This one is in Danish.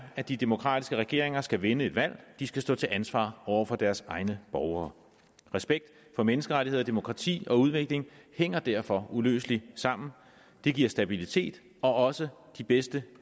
at de demokratiske regeringer skal vinde et valg de skal stå til ansvar over for deres egne borgere respekt for menneskerettigheder og demokrati og udvikling hænger derfor uløseligt sammen det giver stabilitet og også de bedste